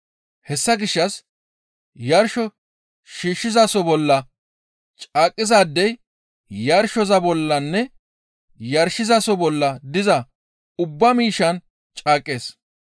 Hessa gishshas yarsho shiishshizaso bolla caaqqizaadey yarshosoza bollanne yarshizaso bolla diza ubba miishshan caaqqees.